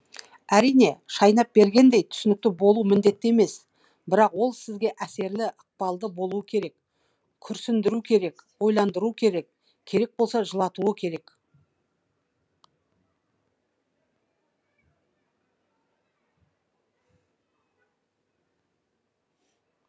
әрине шайнап бергендей түсінікті болуы міндетті емес бірақ ол сізге әсерлі ықпалды болуы керек күрсіндіруі керек ойландыруы керек керек болса жылатуы керек